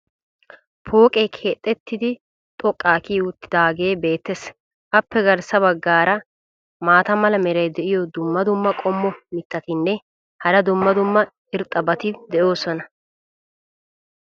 pooqee keexettidi xoqqaa kiyi uttidaagee beetees. appe garssa bagaara maata mala meray diyo dumma dumma qommo mitattinne hara dumma dumma irxxabati de'oosona.